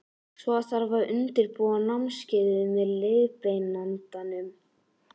Svo þarf að undirbúa námskeiðið með leiðbeinandanum.